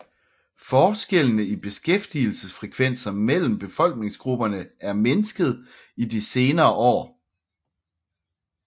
Forskellene i beskæftigelsesfrekvenser mellem befolkningsgrupperne er mindsket i de senere år